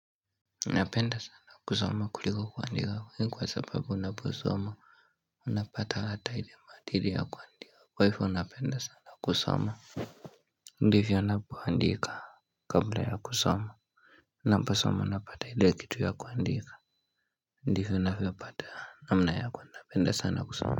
Napenda sana kusoma kuliko kuandika hii kwa sababu naposoma. Napata hata ile maadili ya kuandika kwa hivyo napenda sana kusoma. Ndivyo napoandika. Kabla ya kusoma naposoma napata ile kitu ya kuandika. Ndivyo navyopata namna ya kwenda mbele sana kusoma.